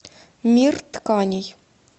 мир тканей